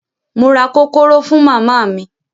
Mo ra kókóró fún màmá mi.